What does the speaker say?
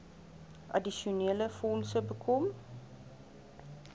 addisionele fondse bekom